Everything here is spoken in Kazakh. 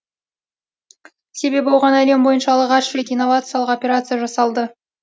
себебі оған әлем бойынша алғаш рет инновациялық операция жасалды